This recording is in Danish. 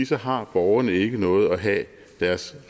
så har borgerne ikke noget at have deres